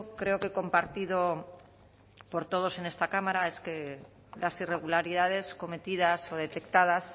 creo que compartido por todos en esta cámara es que las irregularidades cometidas o detectadas